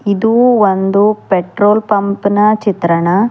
ಇದು ಒಂದು petrol pump ನ ಚಿತ್ರಣ.